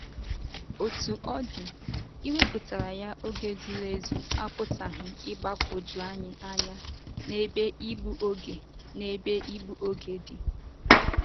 Otú ọ dị, iwepụtara ya oge zuru ezu apụtaghị igbakwoju anyị anya n'ebe ịgbu oge n'ebe ịgbu oge dị.